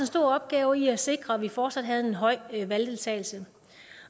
stor opgave i at sikre at vi fortsat havde en høj valgdeltagelse